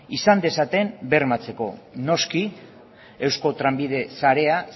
izan dezaten bermatzeko noski eusko trenbide sarea